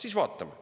Siis vaatame.